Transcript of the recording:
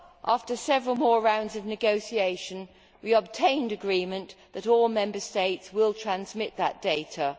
After several more rounds of negotiation, we obtained agreement that all Member States will transmit that data.